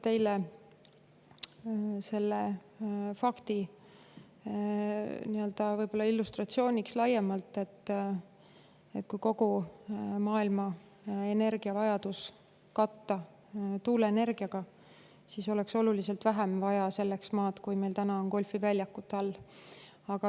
teile laiemalt selle fakti illustreerimiseks, et kui kogu maailma energiavajadus katta tuuleenergiaga, siis oleks selleks vaja oluliselt vähem maad, kui meil on täna golfiväljakute all.